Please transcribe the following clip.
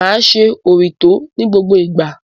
Máa ṣe òrítọ́ ní gbogbo ìgbà.